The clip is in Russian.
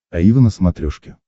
аива на смотрешке